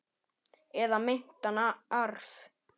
Eða meintan arf.